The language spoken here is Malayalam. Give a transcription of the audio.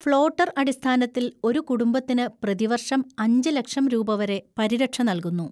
ഫ്ലോട്ടർ അടിസ്ഥാനത്തിൽ ഒരു കുടുംബത്തിന് പ്രതിവർഷം അഞ്ച് ലക്ഷം രൂപ വരെ പരിരക്ഷ നൽകുന്നു.